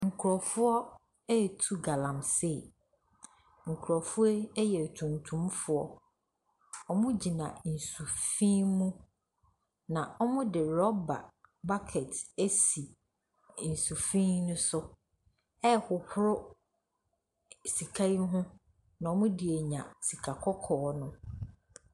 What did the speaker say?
Nkrɔfoɔ retu galasee. Nkrɔfoɔ yi yɛ tuntumfoɔ. Wɔgyina nsuo mu. Wɔde rubber buɔket asi nsu fi no so rehohoro sika yi ho na wɔde anya sika kɔkɔɔ.